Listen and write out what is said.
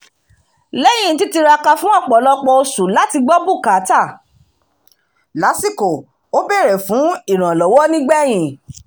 lẹ́yìn títiraka fún ọ̀pọ̀lọpọ̀ oṣù láti gbọ́ bùkátà lásìkò ó bèrè fún ìrànlọ́wọ́ nígbẹ̀yìn